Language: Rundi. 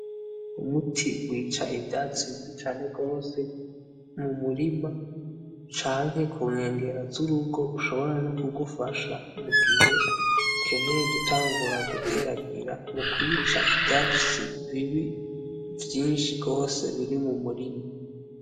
Umuti wica ivyatsi bibi cane gose mumurima Canke kunkengera zurugo ushobora nokugupfasha mugihe ukeneye gutangura guteragira mukwica ivyatsi bibi vyinshi gose biri mumurima